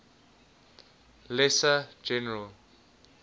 lesser general